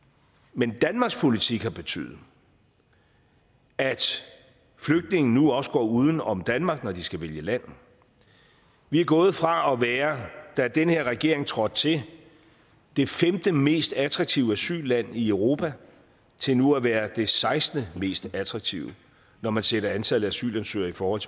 men danmarks politik har betydet at flygtninge nu også går uden om danmark når de skal vælge land vi er gået fra at være da den her regering trådte til det femte mest attraktive asylland i europa til nu at være det sekstente mest attraktive når man sætter antallet af asylansøgere i forhold